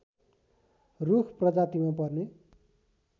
रूख प्रजातिमा पर्ने